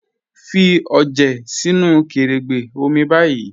Fí ọjẹ sínu kẹ̀rẹ́gbẹ́ omi báyì